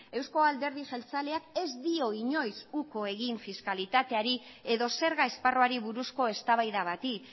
eusko alderdi jeltzaleak ez dio inoiz uko egin fiskalitateari edo zerga esparruari buruzko eztabaida bati